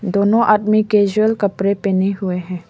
दोनों आदमी कैजुअल कपड़े पेहने हुए हैं।